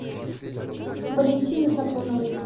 валентины сафроновой